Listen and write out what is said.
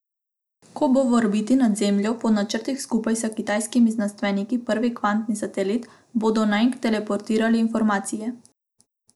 Ko bo v orbiti nad Zemljo po načrtih skupaj s kitajskimi znanstveniki prvi kvantni satelit, bodo nanj teleportirali informacije.